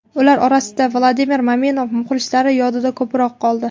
Ular orasidan Vladimir Maminov muxlislar yodida ko‘proq qoldi.